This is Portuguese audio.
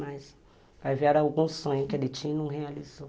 Mas, vai ver, era algum sonho que ele tinha e não realizou.